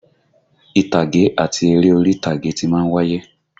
Ìtàgé àti eré orí ìtàgé ti má ń wáyé